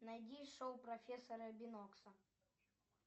найди шоу профессора бинокса